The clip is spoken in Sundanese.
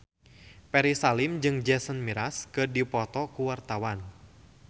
Ferry Salim jeung Jason Mraz keur dipoto ku wartawan